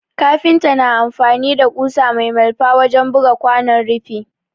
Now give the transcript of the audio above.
Kafinta na amfani da ƙusa mai malfa wajen buga kwanon rufi